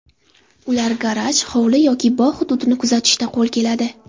Ular garaj, hovli yoki bog‘ hududini kuzatishda qo‘l keladi.